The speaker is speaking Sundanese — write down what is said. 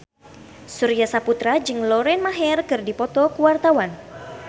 Surya Saputra jeung Lauren Maher keur dipoto ku wartawan